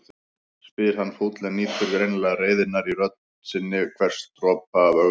spyr hann fúll en nýtur greinilega reiðinnar í rödd sinni, hvers dropa af ögrun.